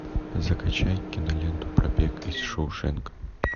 закачай киноленту побег из шоушенка